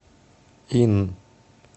инн